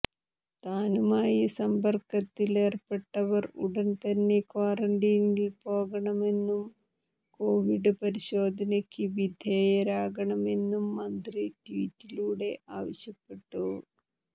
താനുമായി സമ്പർക്കത്തിൽ ഏർപ്പെട്ടവർ ഉടൻ തന്നെ ക്വാറന്റീനിൽ പോകണമെന്നും കോവിഡ് പരിശോധനയ്ക്ക് വിധേയരാകണമെന്നും മന്ത്രി ട്വീറ്റിലൂടെ ആവശ്യപ്പെട്ടു